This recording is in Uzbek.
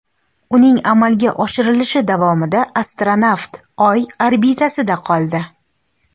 Uning amalga oshirilishi davomida astronavt Oy orbitasida qoldi.